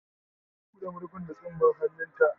Ta buɗe. marfin da tsumman hannu ta